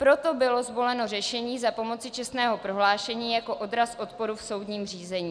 Proto bylo zvoleno řešení za pomoci čestného prohlášení jako odraz odporu v soudním řízení.